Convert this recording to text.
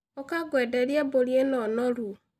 ũka ngũenderie mbũri ĩno noru.